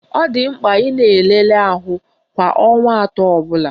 Ọ dị mkpa ị na-elele ahụ kwa ọnwa atọ ọbụla